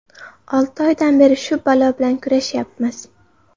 Olti oydan beri shu balo bilan kurashyapmiz.